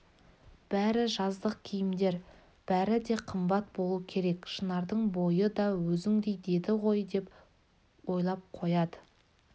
бәрі жаздық киімдер бәрі де қымбат болу керек шынардың бойы да өзіңдей деді ғой деп ойлап қояды